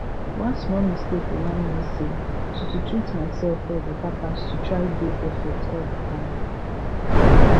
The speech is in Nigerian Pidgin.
one small mistake remind me say to to treat myself well better pass to try dey perfect all di time